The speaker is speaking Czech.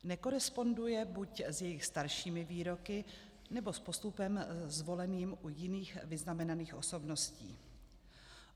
Nekoresponduje buď s jejich staršími výroky, nebo s postupem zvoleným u jiných vyznamenaných osobností.